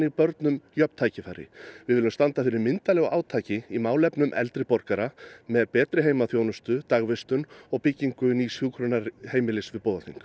börnum jöfn tækifæri við viljum standa fyrir myndarlegu átaki í málefnum eldri borgara með betri heimaþjónustu dagvistun og byggingu nýs hjúkrunarheimilis við